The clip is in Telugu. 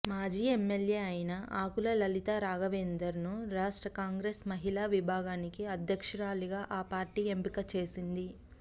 మాజీ ఎమ్మెల్యే అయిన ఆకుల లలితారాఘవేందర్ ను రాష్ట్ర కాంగ్రెస్ మహిళా విభాగానికి అధ్యక్షురాలిగా ఆ పార్టీ ఎంపిక చేసింది